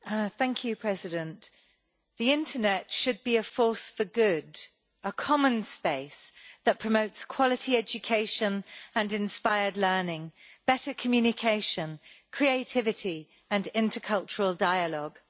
Madam President, the internet should be a force for good a common space that promotes quality education and inspired learning, better communication, creativity and intercultural dialogue.